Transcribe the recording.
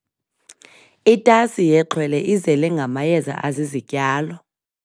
Itasi yexhwele izele ngamayeza azizityalo.